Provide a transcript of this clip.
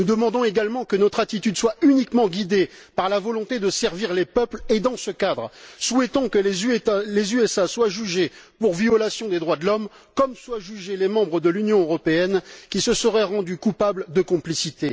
Nous demandons également que notre attitude soit uniquement guidée par la volonté de servir les peuples et, dans ce cadre, souhaitons que les États Unis soient jugés pour violation des droits de l'homme, comme soient jugés les membres de l'Union européenne qui se seraient rendus coupables de complicité.